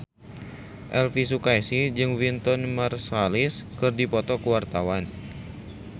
Elvi Sukaesih jeung Wynton Marsalis keur dipoto ku wartawan